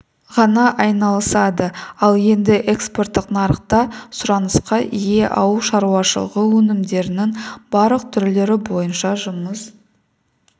ғана айналысады ал енді экспорттық нарықта сұранысқа ие ауыл шаруашылығы өнімдерінің барлық түрлері бойынша жұмыс